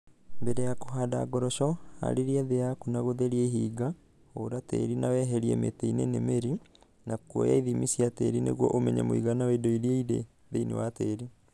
Mbere ya kũhanda ngoroco, haarĩrie thĩ yaku na gũtheria ihinga, hũra tĩĩri nawehriĩ mĩtĩnĩ nĩ mĩri, na kuoya ithimi cia tĩĩri nĩguo ũmenye mũigana wa indo iria irĩ thĩinĩ wa tĩĩri.